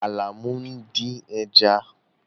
Àlàmú ń dín ẹja.